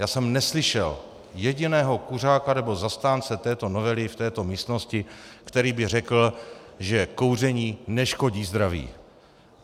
Já jsem neslyšel jediného kuřáka nebo zastánce této novely v této místnosti, který by řekl, že kouření neškodí zdraví.